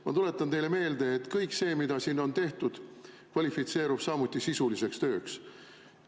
Ma tuletan teile meelde, et kõik see, mida siin on tehtud, kvalifitseerub samuti sisuliseks tööks.